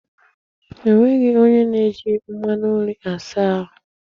Enweghị onye na-eji mmanụ nri asa ahụ.